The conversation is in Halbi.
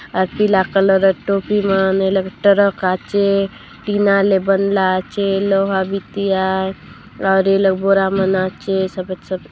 अ_ पीला कलर टोपी म ने टरक आचे टीना ले बनला आचे लोहा बिटिया और यह लोग बोरा में नाचे सफेद-सफेद--